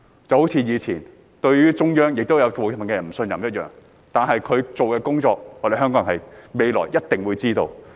就好像過往，對於中央，也有部分人不信任一樣，但這些工作香港人未來一定會理解的。